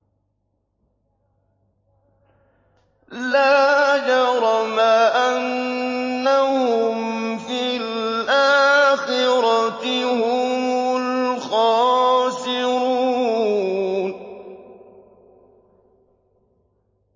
لَا جَرَمَ أَنَّهُمْ فِي الْآخِرَةِ هُمُ الْخَاسِرُونَ